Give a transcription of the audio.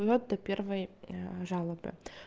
вот и первые жалобы